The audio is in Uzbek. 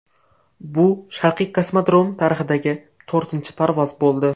Bu Sharqiy kosmodrom tarixidagi to‘rtinchi parvoz bo‘ldi.